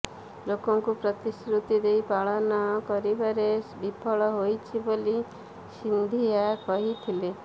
ଲୋକଙ୍କୁ ପ୍ରତିଶ୍ରୁତି ଦେଇ ପାଳନ କରିବାରେ ବିଫଳ ହୋଇଛି ବୋଲି ସିନ୍ଧିଆ କହିଥିଲେ